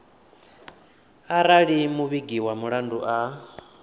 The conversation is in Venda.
arali muvhigi wa mulandu a